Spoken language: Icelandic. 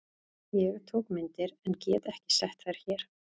Ég tók myndir en get ekki sett þær hér.